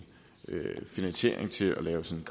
finansiering til at lave sådan